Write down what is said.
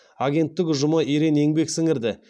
агенттік ұжымы ерен еңбек сіңірді